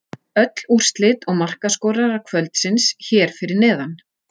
Öll úrslit og markaskorarar kvöldsins hér fyrir neðan: